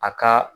A ka